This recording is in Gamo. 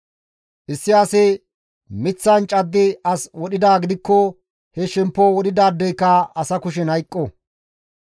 Issi asi miththan caddi as wodhidaa gidikko he shemppo wodhidaadeyka asa kushen hayqqo.